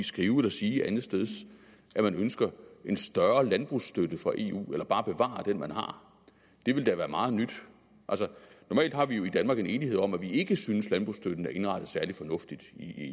skrive eller sige andetsteds at man ønsker en større landbrugsstøtte fra eu eller bare at bevare den man har det ville da være meget nyt normalt har vi jo i danmark en enighed om at vi ikke synes at landbrugsstøtten er indrettet særlig fornuftigt